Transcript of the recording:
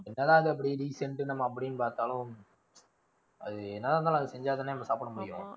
என்னதான் அதை வந்து decent உ நம்ம அப்படின்னு பாத்தாலும், அது என்னதான் இருந்தாலும், அது செஞ்சா தானே சாப்பிட முடியும்.